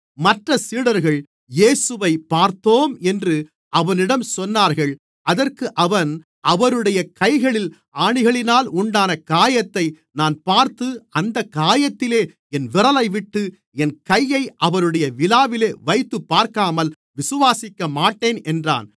மற்றச் சீடர்கள் இயேசுவை பார்த்தோம் என்று அவனிடம் சொன்னார்கள் அதற்கு அவன் அவருடைய கைகளில் ஆணிகளினால் உண்டான காயத்தை நான் பார்த்து அந்தக் காயத்திலே என் விரலைவிட்டு என் கையை அவருடைய விலாவிலே வைத்துப்பார்க்காமல் விசுவாசிக்கமாட்டேன் என்றான்